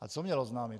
A co měl oznámit?